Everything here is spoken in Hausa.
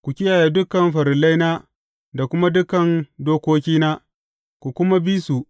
Ku kiyaye dukan farillaina da kuma dukan dokokina, ku kuma bi su.